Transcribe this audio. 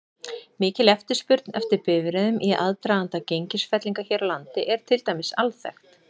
Mikil eftirspurn eftir bifreiðum í aðdraganda gengisfellinga hér á landi er til dæmis alþekkt.